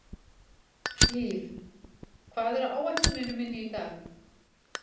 Liv, hvað er á áætluninni minni í dag?